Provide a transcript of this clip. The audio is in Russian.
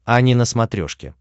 ани на смотрешке